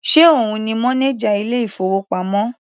Ṣe òun ni mọ́néjà ilé ìfowópamọ́?